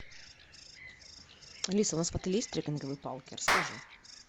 алиса у нас в отеле есть трекинговые палки расскажи